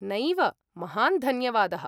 नैव, महान् धन्यवादः।